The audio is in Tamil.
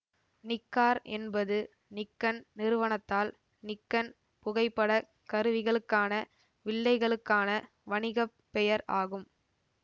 நிக்கார் என்பது நிக்கன் நிறுவனத்தால் நிக்கன் புகைப்படக் கருவிகளுக்கான வில்லைகளுக்கான வணிக பெயர் ஆகும்